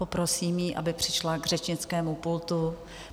Poprosím ji, aby přišla k řečnickému pultu.